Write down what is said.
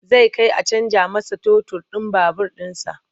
Zai kai a canja masa totur ɗin babur ɗinsa.